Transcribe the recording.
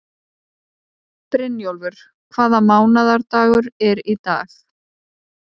Brynjólfur, hvaða mánaðardagur er í dag?